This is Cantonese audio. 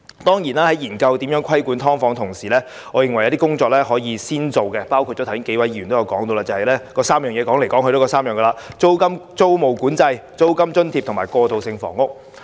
當然，在研究如何規管"劏房"的同時，我認為有些工作可以首先進行，包括數位議員剛才不斷提出的3點，即租務管制、租金津貼及過渡性房屋。